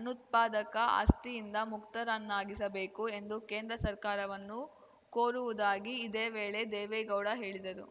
ಅನುತ್ಪಾದಕ ಆಸ್ತಿಯಿಂದ ಮುಕ್ತರನ್ನಾಗಿಸಬೇಕು ಎಂದು ಕೇಂದ್ರ ಸರ್ಕಾರವನ್ನು ಕೋರುವುದಾಗಿ ಇದೇ ವೇಳೆ ದೇವೇಗೌಡ ಹೇಳಿದರು